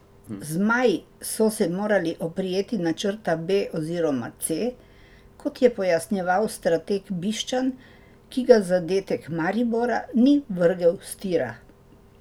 Zmaji so se morali oprijeti načrta B oziroma C, kot je pojasnjeval strateg Bišćan, ki ga zadetek Maribora ni vrgel s tira.